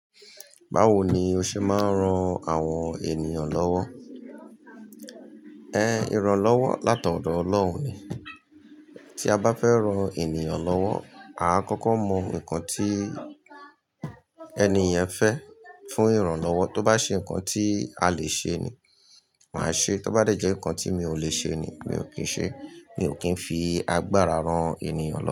Báwo ni oṣe máa ń ran àwọn ènìyàn lọ́wọ́, ìrànlọ́wọ́ láti ọ̀dọ̀ ọlọ́run ni. Tí a bá fẹ́ ran ènìyàn lọ́wọ́, a máa kọ́kọ́ mọ nǹkan tí ẹni yẹn fẹ́ fún ìrànlọ́wọ́. Tó bá ṣe nǹkan tí a lè ṣe ni, màá ṣe é. Tó bá jẹ́ nǹkan tí mi ò lè ṣe ni, mi ò kín ṣe é. Mi ò kín fi agbára ran ènìyàn lọ́wọ́